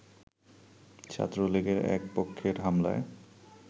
ছাত্রলীগের এক পক্ষের হামলায়